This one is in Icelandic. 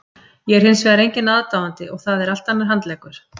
Ég er hins vegar enginn aðdáandi og það er allt annar handleggur.